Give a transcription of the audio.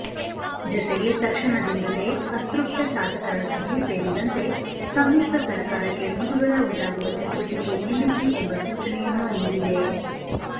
ಜತೆಗೆ ತಕ್ಷಣದಿಂದಲೇ ಅತೃಪ್ತ ಶಾಸಕರ ಸಭೆ ಸೇರಿದಂತೆ ಸಮ್ಮಿಶ್ರ ಸರ್ಕಾರಕ್ಕೆ ಮುಜುಗರ ಉಂಟಾಗುವ ಚಟುವಟಿಕೆ ನಿಲ್ಲಿಸಿ ಎಂಬ ಸೂಚನೆಯನ್ನೂ ನೀಡಿದೆ